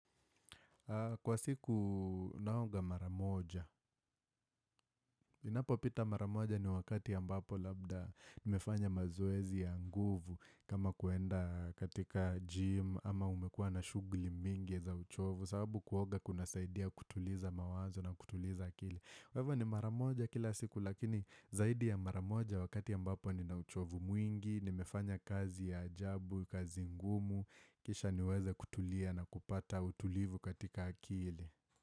Kwa siku naoga mara moja, inapo pita maramoja ni wakati ya ambapo labda nimefanya mazoezi ya nguvu kama kuenda katika gym ama umekuwa na shughuli mingi za uchovu sababu kuoga kuna saidia kutuliza mawazo na kutuliza akili. Kwa hivo ni mara moja kila siku lakini zaidi ya mara moja wakati ambapo ni na uchovu mwingi, nimefanya kazi ya ajabu, kazi ngumu, kisha niweza kutulia na kupata utulivu katika akili.